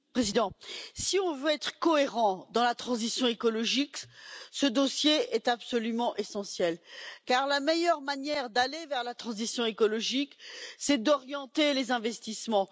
Monsieur le Président, si nous voulons être cohérents dans la transition écologique, ce dossier est absolument essentiel, car la meilleure manière d'aller vers la transition écologique, c'est d'orienter les investissements.